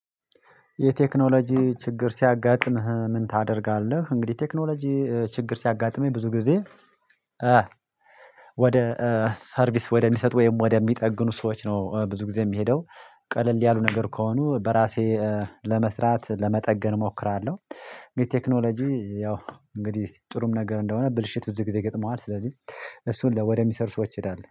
የቴክኖሎጂ ችግር ሲያጋጥምህ ምን ታደርጋለህ? እንግዲህ ቴክኖሎጂ ችግር ሲያጋጥመኝ ብዙ ጊዜ ወደ ሰርቪስ ወደሚሰጡ ወይም ወደሚጠግኑ ሰዎች ነው ብዙ ጊዜ የምሄደው ቀለል ያሉ ነገር ከሆኑ በራሴ ለመስራት ለመጠገን እሞክራለሁ ቴክኖሎጂ ያው እንግዲህ ጥሩም ነገር እንደሆነ ብልሽት ብዙ ጊዜ ይገጥመዋል ስለዚህ እሱን ወደሚሰር ሰዎች ይሄዳል